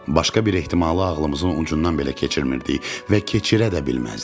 Başqa bir ehtimalı ağlımızın ucundan belə keçirmirdik və keçirə də bilməzdik.